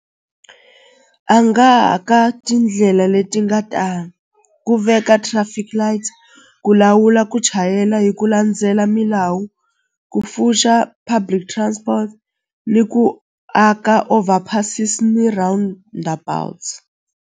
A nga ha ka tindlela leti nga ta ku veka traffic lights ku lawula ku chayela hi ku landzela milawu ku pfuxa public transport ni ku aka over passes .